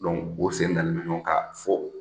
o sen dalen bɛ ɲɔgɔn kan fo